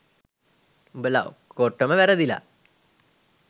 උඹලා ඔක්කොටම වැරදිලා